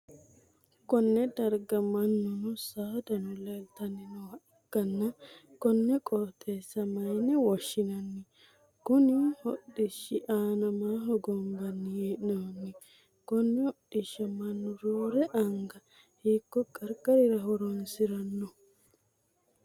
Konne darga manunno saadano leeltanni nooha ikanna konne qooxeessa mayinne woshinnanni? Konni hodhishi aanna maa hogombanni hee'noonni? Konne hodhisha mannu roore anga hiiko qarqarirra horoonsirano?